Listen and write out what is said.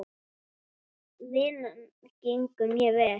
Vinnan gengur mjög vel.